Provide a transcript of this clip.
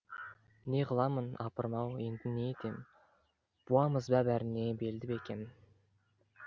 не қыламын апырмау енді не етем буамыз ба бәріне белді бекем